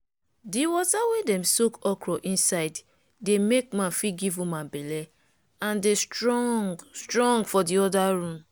di water wey dem soak okro inside dey make man fit give woman belle and dey strong strong for di oda room.